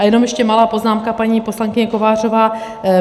A jenom ještě malá poznámka, paní poslankyně Kovářová.